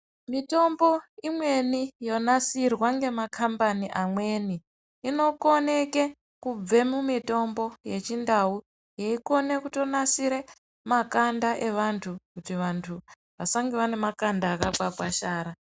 Mitombo imweni yonasirwa ngemakambani amweni inokoneke kubva mumitombo yechindau yeikone kutonasire makanda evantu kuti vantu vasange vane makanda akakwasharara.